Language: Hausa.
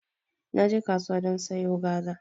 Naje kasuwa don sayo gwaza